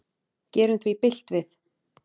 Gerum því bylt við.